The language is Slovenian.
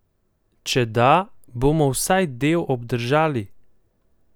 Če da, bomo vsaj del obdržali?